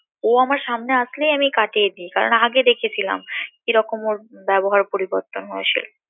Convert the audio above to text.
ও আমার সামনে আসলেই আমি কাটিয়ে দি, কারণ আগে দেখেছিলাম কিরকম ওর ব্যবহার পরিবর্তন হয়েছে